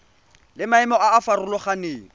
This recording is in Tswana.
le maemo a a farologaneng